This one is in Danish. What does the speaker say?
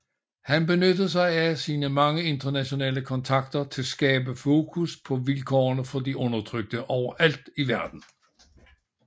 Han benyttede sig af sine mange internationale kontakter til at skabe fokus på vilkårene for de undertrykte overalt i verden